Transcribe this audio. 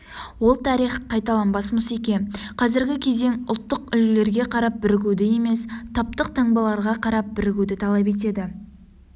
ол тарих қайталанбас мұсеке қазіргі кезең ұлттық үлгілерге қарап бірігуді емес таптық таңбаларға қарап бірігуді талап етеді